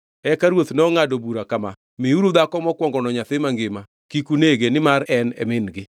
Eka ruoth nongʼado bura kama, “Miuru dhako mokwongono nyathi mangima, kik unege nimar en e min-gi.”